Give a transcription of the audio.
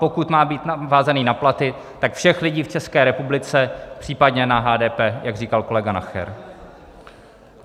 Pokud má být vázaný na platy, tak všech lidí v České republice, případně na HDP, jak říkal kolega Nacher.